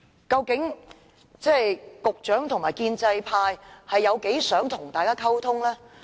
究竟局長和建制派有多想與大家溝通呢？